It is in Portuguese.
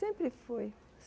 Sempre foi.